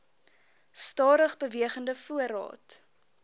stadig bewegende voorraad